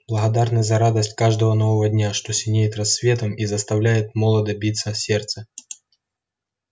благодарны за радость каждого нового дня что синеет рассветом и заставляет молодо биться сердце